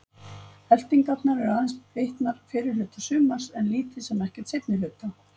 Elftingarnar eru aðeins bitnar fyrri hluta sumars en lítið sem ekkert seinni hluta.